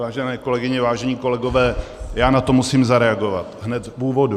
Vážené kolegyně, vážení kolegové, já na to musím zareagovat hned v úvodu.